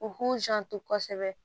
U k'u janto kosɛbɛ